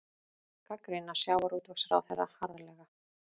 Gagnrýna sjávarútvegsráðherra harðlega